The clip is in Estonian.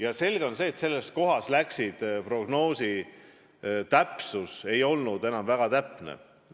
On selge, et sellekohane prognoos ei olnud kuigi täpne.